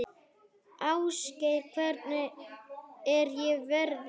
Ásgeir, hvernig er veðrið?